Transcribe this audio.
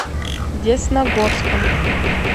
десногорском